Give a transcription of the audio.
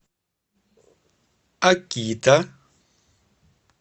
акита